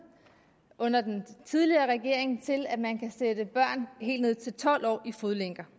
under den tidligere regering til at man kan sætte børn helt ned til tolv år i fodlænker